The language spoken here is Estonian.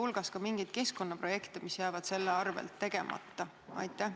Kas on mingeid keskkonnaprojekte, mis jäävad selle tõttu nüüd tegemata?